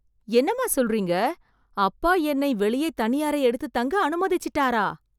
என்னம்மா சொல்றீங்க... அப்பா என்னை வெளியே தனி அறை எடுத்து தங்க அனுமதிச்சிட்டாரா...